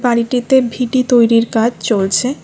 বাড়িটিতে ভিটি তৈরির কাজ চলছে।